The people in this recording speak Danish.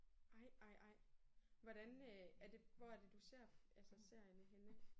Ej ej ej. Hvordan er det hvor er det du ser altså serierne henne?